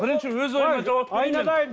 бірінші өз ойыңа жауап берейін мен